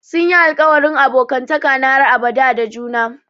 Sun yi alƙawarin abokantaka na har abada da juna.